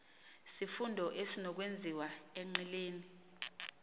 sifundo ezinokwenziwa enqileni